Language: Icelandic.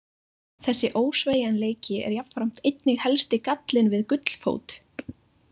Þessi ósveigjanleiki er jafnframt einnig helsti gallinn við gullfót.